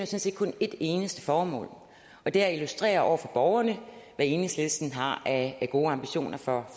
set kun et eneste formål og det er at illustrere over for borgerne hvad enhedslisten har af gode ambitioner for